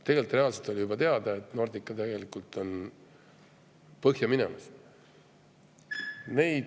Tegelikult oli juba teada, et Nordica on põhja minemas.